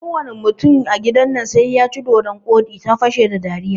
Kowane mutum a gidan nan sai yaci dodon koɗi, ta fashe da dariya